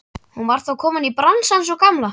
Hún var þá komin í bransann sú gamla!